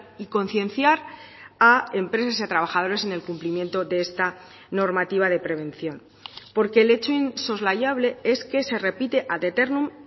y concienciar a empresas y trabajadores en el cumplimiento de esta normativa de prevención porque el hecho insoslayable es que se repite ad eternum